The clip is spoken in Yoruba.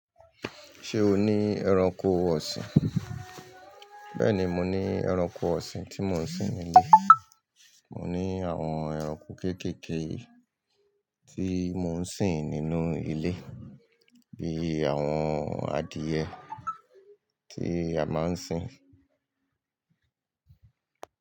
Ṣé o ní ẹranko ọ̀sìn? Bẹ́ẹ̀ni, mo ní ẹranko ọ̀sìn tí mò ń sin nínú Mo ní àwọn ẹranko kéékèèké tí mò ń sin nínú ilé bíi àwọn adìẹ tí a máa ń sin.